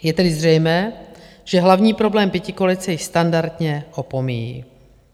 Je tedy zřejmé, že hlavní problém pětikoalice již standardně opomíjí.